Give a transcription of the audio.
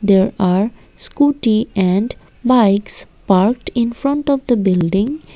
there are scooty and bikes parked infront of the building.